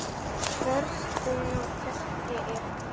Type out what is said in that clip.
Hvers konar keppni er þetta?